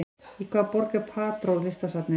Í hvaða borg er Prado listasafnið?